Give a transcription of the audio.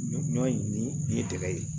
Ɲɔ in i ye gɛlɛya ye